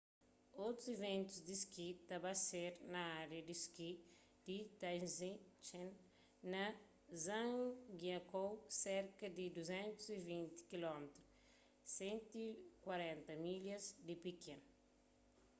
otus iventus di ski ta ba ser na ária di ski di taizicheng na zhangjiakou serka di 220 km 140 milhas di pekin